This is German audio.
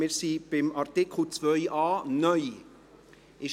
Wir sind bei Artikel 2a (neu).